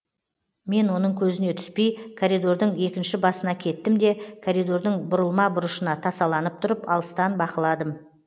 мен оның көзіне түспей коридордың екінші басына кеттім де коридордың бұрылма бұрышына тасаланып тұрып алыстан бақыладым